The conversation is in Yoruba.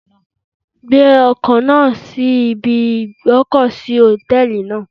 Gbé ọkọ̀ náà sí ibi ìgb'ọ́kọ̀ sí Hòtẹ́lìì náà.